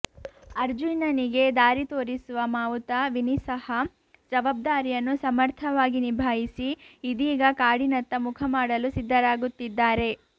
ಅರ್ಜುನನಿಗೆ ದಾರಿ ತೋರಿಸುವ ಮಾವುತ ವಿನಿ ಸಹ ಜವಾಬ್ದಾರಿಯನ್ನು ಸಮರ್ಥವಾಗಿ ನಿಭಾಯಿಸಿ ಇದೀಗ ಕಾಡಿನತ್ತ ಮುಖಮಾಡಲು ಸಿದ್ಧರಾಗುತ್ತಿದ್ದಾರೆ